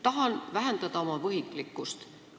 Tahan vähendada oma võhiklikkust.